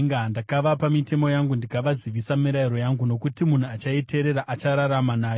Ndakavapa mitemo yangu ndikavazivisa mirayiro yangu, nokuti munhu achaiteerera achararama nayo.